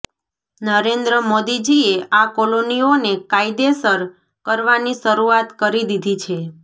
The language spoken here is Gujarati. નરેન્દ્ર મોદીજીએ આ કોલોનીઓને કાયદેસર કરવાની શરૂઆત કરી દીધી છે